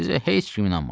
Sizə heç kim inanmaz.